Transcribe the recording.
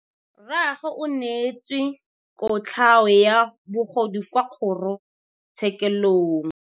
Rragwe o neetswe kotlhaô ya bogodu kwa kgoro tshêkêlông.